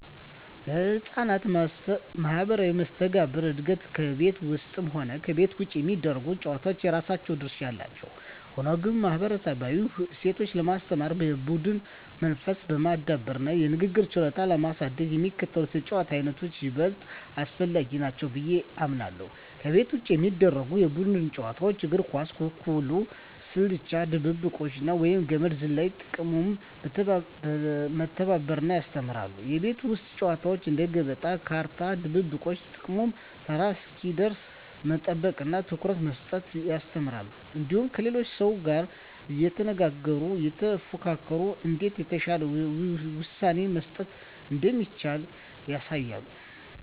ለሕፃናት ማኅበራዊ መስተጋብር እድገት ከቤት ውስጥም ሆነ ከቤት ውጭ የሚደረጉ ጨዋታዎች የራሳቸው ድርሻ አላቸው። ሆኖም ግን፣ ማኅበረሰባዊ እሴትን ለማስተማር፣ የቡድን መንፈስን ለማዳበርና የንግግር ችሎታን ለማሳደግ የሚከተሉት የጨዋታ ዓይነቶች ይበልጥ አስፈላጊ ናቸው ብዬ አምናለሁ፦ ከቤት ውጭ የሚደረጉ የቡድን ጨዋታዎች እግር ኳስ፣ ኩኩሉ፣ ስልቻ ድብብቆሽ፣ ወይም ገመድ ዝላይ። ጥቅሙም መተባበርን ያስተምራሉ። የቤት ውስጥ ጨዋታዎች እንደ ገበጣ፣ ካርታ፣ ድብብቆሽ… ጥቅሙም ተራ እስኪደርስ መጠበቅንና ትኩረት መስጠትን ያስተምራሉ። እንዲሁም ከሌላው ሰው ጋር እየተነጋገሩና እየተፎካከሩ እንዴት የተሻለ ውሳኔ መስጠት እንደሚቻል ያሳያሉ።